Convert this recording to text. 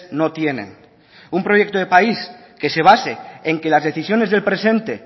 no tienen un proyecto de país que se base en que las decisiones del presente